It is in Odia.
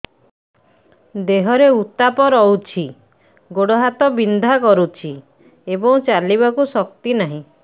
ଦେହରେ ଉତାପ ରହୁଛି ଗୋଡ଼ ହାତ ବିନ୍ଧା କରୁଛି ଏବଂ ଚାଲିବାକୁ ଶକ୍ତି ନାହିଁ